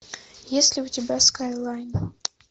есть ли у тебя скайлайн